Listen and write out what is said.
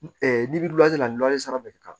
la sara bɛ kɛ ka